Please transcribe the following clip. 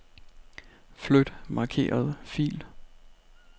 Flyt markerede fil.